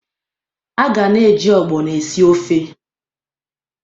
A ga na-eji ogbono esi ofe.